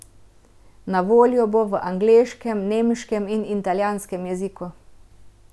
Na voljo bo v angleškem, nemškem in italijanskem jeziku.